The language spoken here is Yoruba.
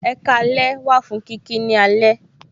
Ekaalẹ wà fún kíkí ni ní alẹ.